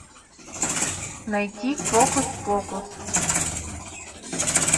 найти фокус покус